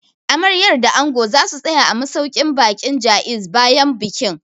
Amaryar da Angon za su tsaya a masauƙin baƙin Jaiz bayan bikin